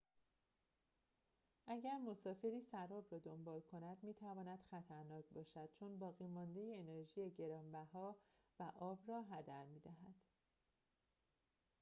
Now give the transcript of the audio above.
اگر مسافری سراب را دنبال کند می‌تواند خطرناک باشد چون باقی‌مانده انرژی گران‌بها و آب را هدر می‌دهد